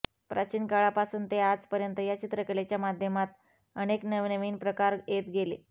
प्राचीन काळापासून ते आजपर्यंत या चित्रकलेच्या माध्यमात अनेक नवनवीन प्रकार येत गेले